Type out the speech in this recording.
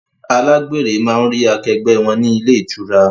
Alágbèrè máa ń rí akẹgbẹ́ wọn ni ilé ìtura